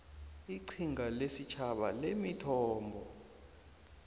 iqhinga lesitjhaba lemithombo